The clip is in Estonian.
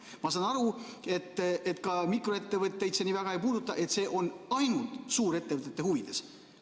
Ma saan aru, et ka mikroettevõtteid see nii väga ei puuduta, et see on ainult suurettevõtete huvides.